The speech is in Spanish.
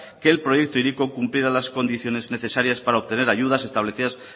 que el proyecto hiriko cumpliera las condiciones necesarias para obtener ayudas establecidas